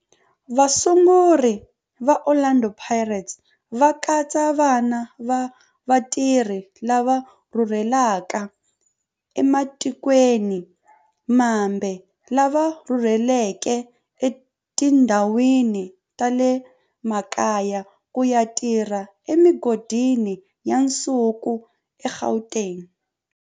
Vasunguri va Orlando Pirates va katsa vana va vatirhi lava rhurhelaka ematikweni mambe lava rhurheleke etindhawini ta le makaya ku ya tirha emigodini ya nsuku eGauteng.